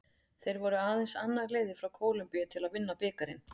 Þeir voru aðeins annað liðið frá Kólumbíu til að vinna bikarinn.